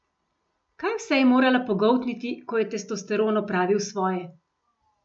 Kaj vse je morala pogoltniti, ko je testosteron opravil svoje!